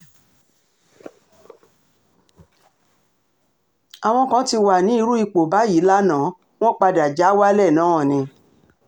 àwọn kan ti wà ní irú ipò báyìí lànàá wọn padà já wálẹ̀ náà ni